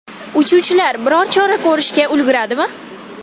Uchuvchilar biror chora ko‘rishga ulguradimi?